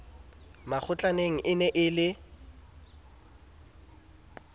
makgotlaneng e ne e le